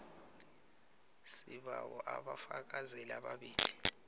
sibawa abafakazeli ababili